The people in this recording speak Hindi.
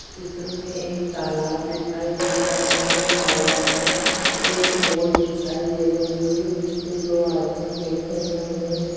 चित्र में एक तालाब दिखाई दे रहा है तालाब में एक बोट दिखाई दे रही है जिस पे दो आदमी बैठे हुए है।